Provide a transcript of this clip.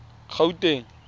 gauteng